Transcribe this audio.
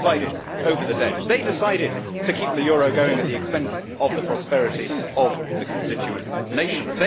They presided over the debt they decided to keep the euro going at the expense of the prosperity of the constituent nations